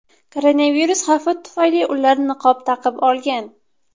Koronavirus xavfi tufayli ular niqob taqib olgan.